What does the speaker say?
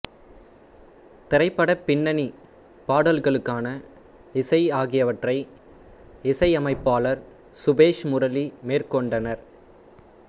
திரைபட பின்னணி பாடல்களுக்கான இசை ஆகியவற்றை இசையமைப்பாளர் சபேஷ்முரளி மேற்கொண்டனர்